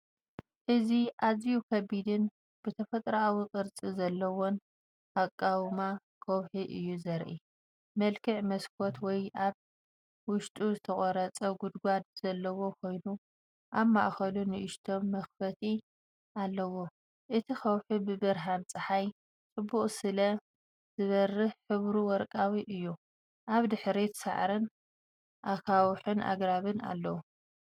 እዚ ኣዝዩ ከቢድን ብተፈጥሮኣዊ ቅርጺ ዘለዎን ኣቃውማ ከውሒ እዩ ዘርኢ። መልክዕ መስኮት ወይ ኣብ ውሽጡ ዝተቖርጸ ጉድጓድ ዘለዎ ኮይኑ፡ኣብ ማእከሉ ንእሽቶ መኽፈቲ ኣለዎ። እቲ ከውሒ ብብርሃን ጸሓይ ጽቡቕ ስለ ዝበርህ ሕብሩ ወርቃዊ እዩ። ኣብ ድሕሪት ሳዕርን ኣኻውሕንኣግራብን ኣለዉ።